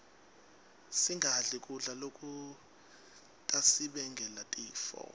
singadli kudla lokutasibangela tifo